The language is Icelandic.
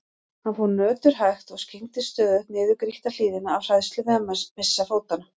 Hann fór örhægt og skyggndist stöðugt niður grýtta hlíðina af hræðslu við að missa fótanna.